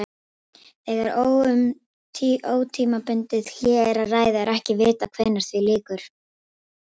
Þegar um ótímabundið hlé er að ræða er ekki vitað hvenær því lýkur.